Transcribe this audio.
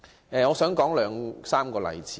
我想舉出兩三個例子。